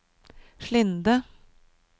Slinde